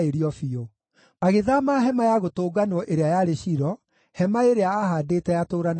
Agĩthaama Hema-ya-Gũtũnganwo ĩrĩa yarĩ Shilo, hema ĩrĩa aahaandĩte atũũranagie na andũ.